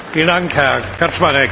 Die schriftliche Erklärung Nr.